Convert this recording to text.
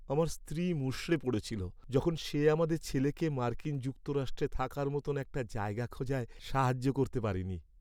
আমার স্ত্রী মুষড়ে পড়েছিল যখন সে আমাদের ছেলেকে মার্কিন যুক্তরাষ্ট্রে থাকার মতো একটা জায়গা খোঁজায় সাহায্য করতে পারেনি।